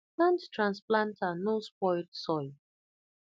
hand transplanter no spoil soil